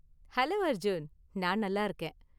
Hello Arjun! நான் நல்லா இருக்கேன்